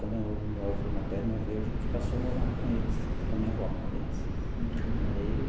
Quando o meu avô materno morreu, a gente passou a morar com eles, com a minha avó, aliás aí.